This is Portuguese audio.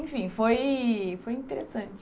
Enfim, foi foi interessante.